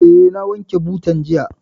Eh, na wanke butan jiya